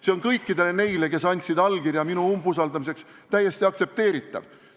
See on kõikide nende jaoks, kes andsid allkirja minu umbusaldamiseks, täiesti aktsepteeritav.